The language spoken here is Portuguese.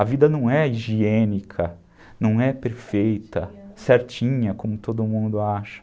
A vida não é higiênica, não é perfeita, certinha, como todo mundo acha.